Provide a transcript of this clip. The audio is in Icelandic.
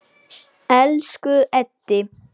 Elsku Eddi.